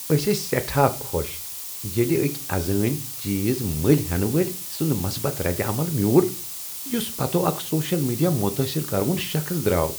أسۍ ٲسۍ سیٹھاہ خوشی ییلہِ اکۍ ازٲنۍ چیز مٔلۍ ہینہٕ وٲلۍ سُند مُثبت ردِ عمل میوٗل یُس پتو اكھ سوشل میڈیا متاثر کروُن شخص درٛاو ۔